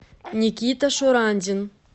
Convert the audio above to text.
никита шурандин